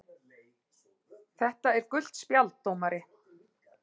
. þetta er gult spjald dómari!!!